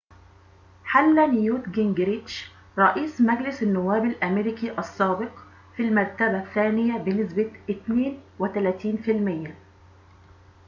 حل نيوت جينجريتش رئيس مجلس النواب الأمريكي السابق في المرتبة الثانية بنسبة 32%